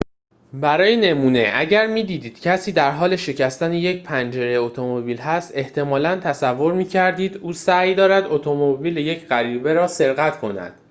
برای نمونه اگر می‌دیدید کسی در حال شکستن یک پنجره اتومبیل است احتمالاً تصور می‌کردید او سعی دارد اتومبیل یک غریبه را سرقت کند